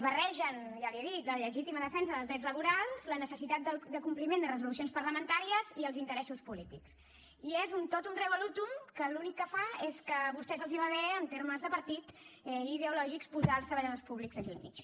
barregen ja li he dit la legítima defensa dels drets laborals la necessitat de compliment de resolucions parlamentàries i els interessos polítics i és un totum revolutum que l’únic que fa és que a vostès els va bé en termes de partit i ideològics posar els treballadors públics aquí al mig